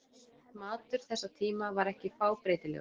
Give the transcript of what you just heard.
Matur þessa tíma var ekki fábreytilegur.